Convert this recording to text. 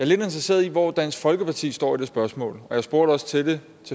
lidt interesseret i hvor dansk folkeparti står i det spørgsmål og jeg spurgte også til det